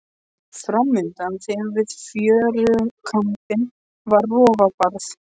Fram undan þeim við fjörukambinn var rofabarð.